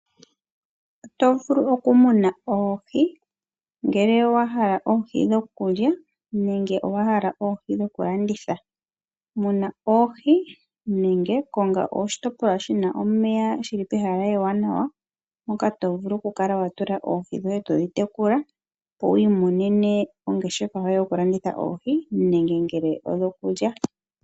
Oto vulu oku muna oohi, ngele owa hala oohi dhokulya, nenge owa hala oohi dhokulanditha. Muna oohi, nenge konga oshitopolwa shi na omeya shili pehala ewanawa, moka tovulu oku kala wa tula oohi dhoye todhi tekula, opo wiimonene ongeshefa yoye yokulanditha oohi nenge ngele odhokulya.